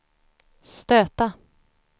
stöta